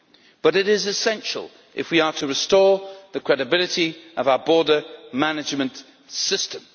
But it is essential if we are to restore the credibility of our border management system.